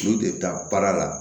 N'u de bɛ taa baara la